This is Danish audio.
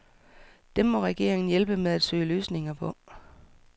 Dem må regeringen hjælpe med at søge løsninger på.